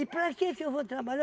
para quê que eu vou trabalhar?